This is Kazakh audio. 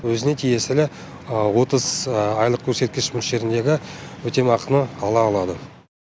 өзіне тиесілі отыз айлық көрсеткіш мөлшеріндегі өтемақыны ала алады